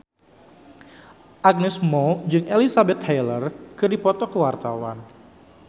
Agnes Mo jeung Elizabeth Taylor keur dipoto ku wartawan